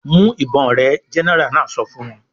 "Mú ìbọn rẹ!" Gẹ́nẹrà náà sọ fún wọn.